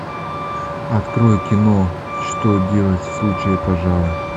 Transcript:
открой кино что делать в случае пожара